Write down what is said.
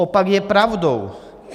Opak je pravdou!